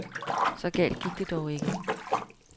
Så galt gik det dog ikke.